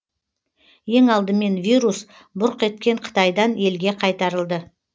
ең алдымен вирус бұрқ еткен қытайдан елге қайтарылды